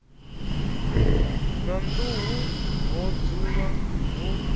na nḓuhu ho dzulwa hu